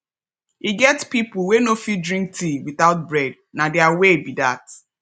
e get people wey no fit drink tea without bread na their way be that